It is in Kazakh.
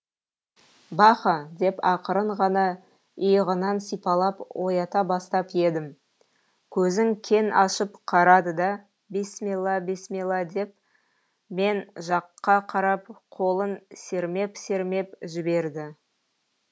баха деп ақырын ғана иығынан сипалап оята бастап едім көзін кең ашып қарады да бисмилла бисмилла деп мен жаққа қарап қолын сермеп сермеп жіберді